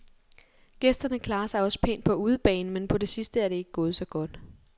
Gæsterne klarer sig også pænt på udebane, men på det sidste er det ikke gået så godt.